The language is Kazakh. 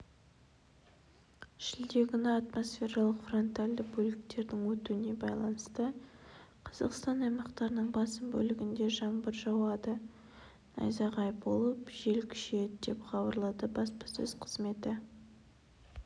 шілде күні атмосфералық фронтальды бөліктердің өтуіне байланысты қазақстан аймақтарының басым бөлігінде жаңбыр жауады найзағай болып жел күшейеді деп хабарлады баспасөз қызметі